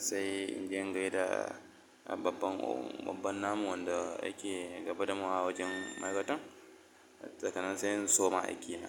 sai inji gaida babban babban namu wanda yake gabatarwa a wajen ma'aikatan sannan sai in soma aikina.